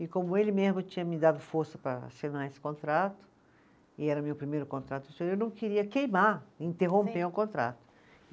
E como ele mesmo tinha me dado força para assinar esse contrato, e era o meu primeiro contrato, eu não queria queimar, interromper o contrato.